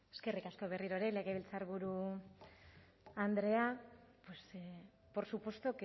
eskerrik asko berriro ere legebiltzarburu andrea por supuesto